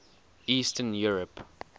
eastern europe